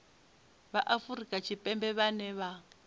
vha afrika tshipembe vhane vha